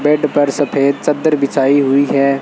Bed पर सफेद चद्दर बिछाई हुई है।